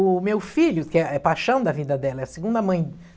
O meu filho, que é é paixão da vida dela, é a segunda mãe